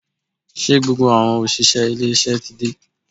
Ṣé gbogbo àwọn òṣìṣẹ́ ilé iṣẹ́ ti dé?